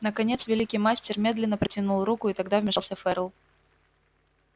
наконец великий мастер медленно протянул руку и тогда вмешался ферл